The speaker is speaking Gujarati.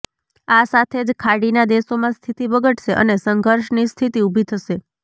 આ સાથે જ ખાડીના દેશોમાં સ્થિતિ બગડશે અને સંઘર્ષની સ્થિતિ ઊભી થશે